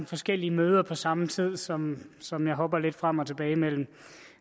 forskellige møder på samme tid som som jeg hopper lidt frem og tilbage mellem